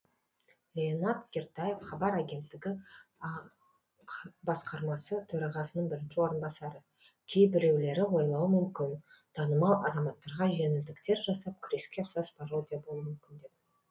ринат кертаев хабар агенттігі ақ басқарма төрағасының бірінші орынбасары кейбіреулері ойлауы мүмкін танымал азаматтарға жеңілдіктер жасап күреске ұқсас пародия болуы мүмкін деп